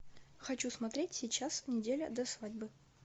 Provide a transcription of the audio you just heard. хочу смотреть сейчас неделя до свадьбы